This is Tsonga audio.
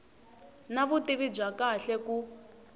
na vutivi bya kahle ku